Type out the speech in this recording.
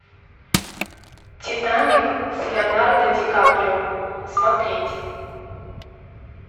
титаник с леонардо ди каприо смотреть